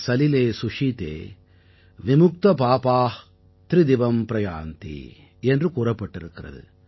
சலிலே சுஷீதே விமுக்தபாபா த்ரிதிவம் ப்ராயாந்தி என்று கூறப்பட்டிருக்கிறது